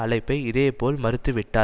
அழைப்பை இதேபோல் மறுத்துவிட்டார்